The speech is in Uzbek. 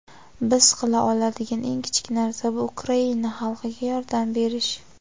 Biz qila oladigan eng kichik narsa - bu Ukraina xalqiga yordam berish.